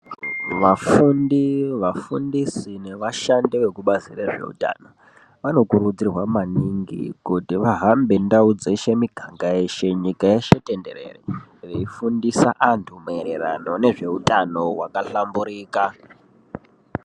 Vafundi vafundisi nevashandi vekubasi rezveutano vanokurudzirwa maningi kuti vahambe ndau dzeshe miganda yeshe nyika yeshe tenderere. Veifundisa antu maererano nezveutano hwakahlamburika.